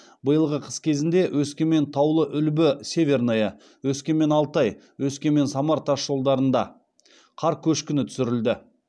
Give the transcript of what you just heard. биылғы қыс кезінде өскемен таулы үлбі северное өскемен алтай өскемен самар тасжолдарында қар көшкіні түсірілді